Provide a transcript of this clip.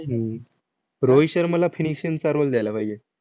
हम्म रोहित शर्माला finishing चा role द्यायला पाहिजे,